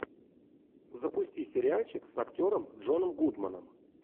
запусти сериальчик с актером джоном гудманом